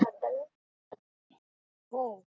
हो